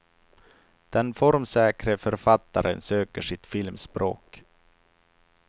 Den formsäkre författaren söker sitt filmspråk.